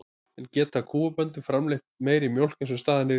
En geta kúabændur framleitt meiri mjólk eins og staðan er í dag?